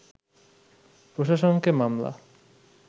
প্রশাসনকে মামলা